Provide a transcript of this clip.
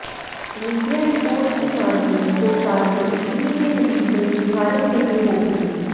media report की मानें तो शादी इटली में नहीं बल्कि भारत में ही होगी